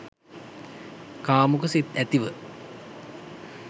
කාමුක සිත් ඇතිව